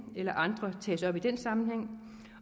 eller andre tages op i den sammenhæng